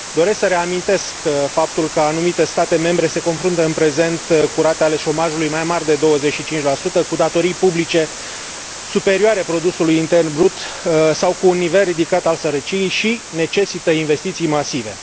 Doresc să reamintesc faptul că anumite state membre se confruntă în prezent cu rate ale șomajului mai mari de 25, cu datorii publice superioare produsului intern brut sau cu un nivel ridicat al sărăciei și necesită investiții masive.